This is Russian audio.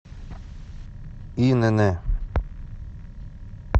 инн